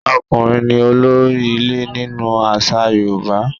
Ọkùnrin ni olórí ilé nínú àṣà Yorùbá.